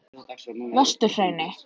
Vesturhrauni